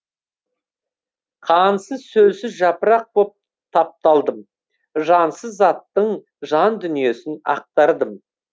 қансыз сөлсіз жапырақ боп тапталдым жансыз заттың жан дүниесін ақтардым